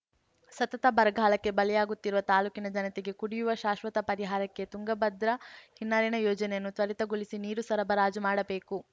ಸತತ ಬರಗಾಲಕ್ಕೆ ಬಲಿಯಾಗುತ್ತಿರುವ ತಾಲೂಕಿನ ಜನತೆಗೆ ಕುಡಿಯುವ ಶಾಶ್ವತ ಪರಿಹಾರಕ್ಕೆ ತುಂಗಭದ್ರಾ ಹಿನ್ನೀರಿನ ಯೋಜನೆಯನ್ನು ತ್ವರಿತಗೊಳಿಸಿ ನೀರು ಸರಬರಾಜು ಮಾಡಬೇಕು